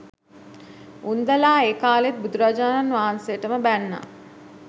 උන්දැලා ඒ කාලෙත් බුදුරජාණන් වහන්සේටම බැන්නා